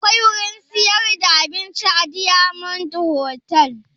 Akwai wurin siyar da abinci a diyamond hotal?